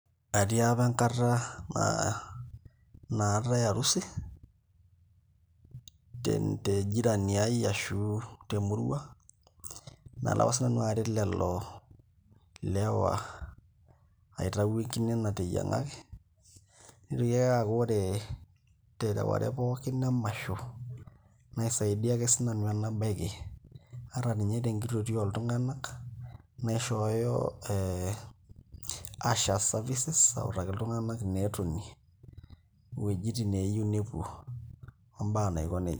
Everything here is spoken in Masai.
Atii apa enkata naatae harusi tejirani ai ashu temurua nalo apa sinanu aret lelo lewa aitaau enkine nateyiang'aki nitoki ake aaku ore tereware pookin emasho nisaidia ake sinanu enabaiki ata ninye tenkitotio oltung'anak naishooyo ee ushers services autaki iltunganak ineetonie, iwuejitin neeyieu nepuo ombaa naiko neija.